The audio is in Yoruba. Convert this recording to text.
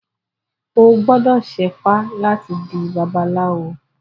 O gbọ́dọ̀ ṣẹ́fá láti di babaláwo.